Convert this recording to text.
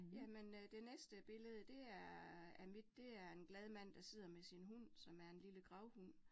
Jamen øh det næste billede det er af mit, det er en glad mand, der sidder med sin hund, som er en lille gravhund